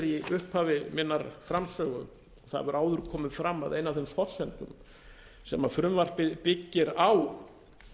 í upphafi minnar framsögu að það hefur áður komið fram að ein af þeim forsendum sem frumvarpið byggir á